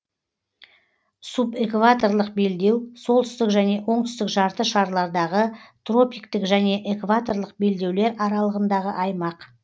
субэкваторлық белдеу солтүстік және оңтүстік жарты шарлардағы тропиктік және экваторлық белдеулер аралығындағы аймақ